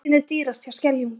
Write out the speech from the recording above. Bensínið dýrast hjá Skeljungi